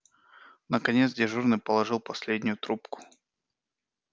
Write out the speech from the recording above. наконец дежурный положил последнюю трубку